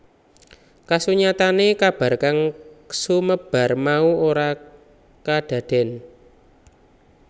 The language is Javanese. Kasunyatane kabar kang sumebar mau ora kadaden